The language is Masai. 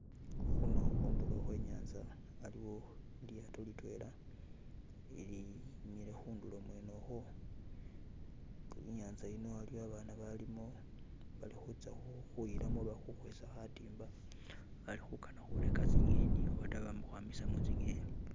Khuno khundulo khwe nyanza aliwo lilyato litwela lilimile khundulo mwene okhwo , inyanza yino aliyo abaana abalimo balikhutsa khutsa khuyilamo oba khukhwesa khatimba bali khukana khureka tsi'ngeni obata bamakhwama khurusamo tsi'ngeni